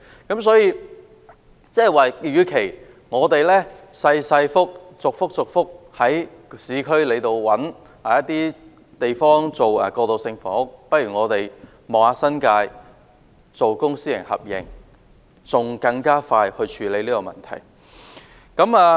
換言之，與其在市區逐一尋覓小型土地以興建過渡性房屋，不如嘗試在新界興建公私合營的過渡性房屋，從而更快處理相關問題。